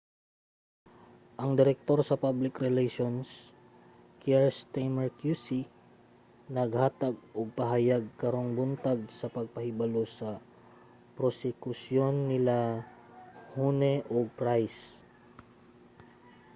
ang direktor sa public relations kier stamer qc naghatag og pahayag karong buntag sa pagpahibalo sa prosekusyon nila huhne ug pryce